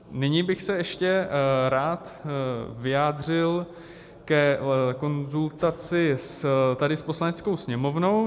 Nyní bych se ještě rád vyjádřil ke konzultaci tady s Poslaneckou sněmovnou.